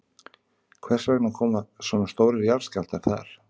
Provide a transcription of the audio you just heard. Hvers vegna koma svona stórir jarðskjálftar þar?